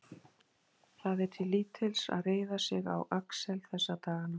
Það er til lítils að reiða sig á Axel þessa dagana.